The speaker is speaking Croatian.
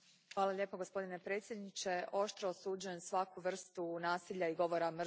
Gospodine predsjedniče, oštro osuđujem svaku vrstu nasilja i govora mržnje.